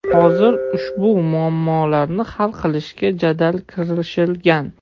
Hozir ushbu muammolarni hal qilishga jadal kirishilgan.